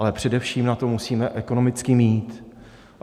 Ale především na to musíme ekonomicky mít.